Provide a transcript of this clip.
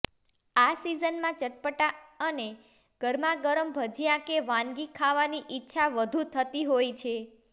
આ સીઝનમાં ચટપટા અને ગરમાગરમ ભજીયા કે વાનગી ખાવાની ઈચ્છા વધુ થતી હોય છે